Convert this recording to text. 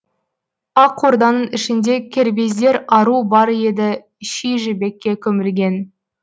ақ орданың ішінде кербездер ару бар еді ши жібекке көмілген